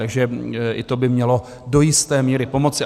Takže i to by mělo do jisté míry pomoci.